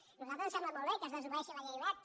a nosaltres ens sembla molt bé que es desobeeixi la llei wert